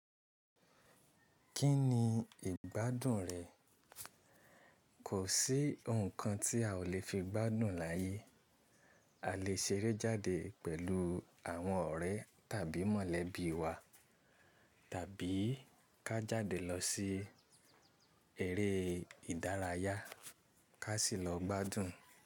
Kí ni ìgbádùn rẹ? Kò sí ǹkan tí a ò lè fi gbádùn láyé. A lè ṣeré jáde pẹ̀lú àwọn ọ̀rẹ́ tàbí mọ̀lẹ́bí wa, tàbí ká jáde lọ sí eré ìdárayá, ká sì lọ gbádùn.